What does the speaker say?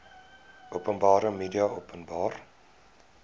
openbare media openbare